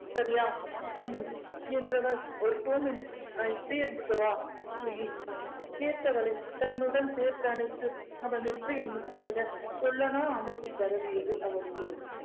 சரியா ஹம் என்றவள் ஒரு two minutes நான் இப்படியே இருந்துக்கவா please கேட்டவளை தன்னுடன் சேர்த்து அணைத்து அவன் நெற்றியில் முத்தமிட அமைதி பரவியது அவளினுள்